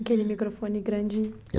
Aquele microfone grandinho.